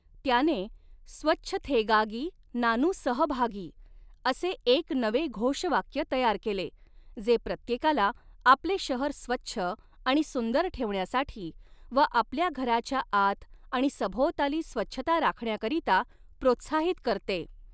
त्याने 'स्वच्छथेगागी नानु सहभागी' असे एक नवे घोषवाक्य तयार केले, जे प्रत्येकाला आपले शहर स्वच्छ आणि सुंदर ठेवण्यासाठी व आपल्या घराच्या आत आणि सभोवताली स्वच्छता राखण्याकरिता प्रोत्साहित करते.